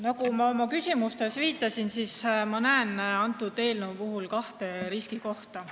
Nagu ma oma küsimustes viitasin, näen ma selle eelnõu puhul kahte riskikohta.